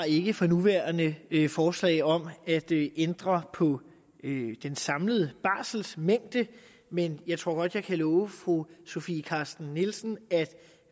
ikke for nuværende har forslag om at ændre på den samlede barselmængde men jeg tror godt at jeg kan love fru sofie carsten nielsen at